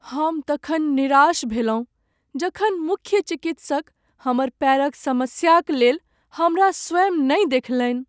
हम तखन निराश भेलहुँ जखन मुख्य चिकित्सक हमर पैरक समस्याक लेल हमरा स्वयं नहि देखलनि ।